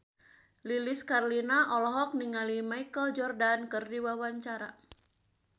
Lilis Karlina olohok ningali Michael Jordan keur diwawancara